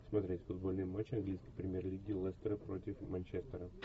смотреть футбольный матч английской премьер лиги лестера против манчестера